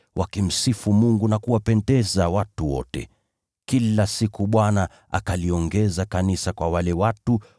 wakimsifu Mungu na kuwapendeza watu wote. Kila siku Bwana akaliongeza kanisa wale waliokuwa wakiokolewa.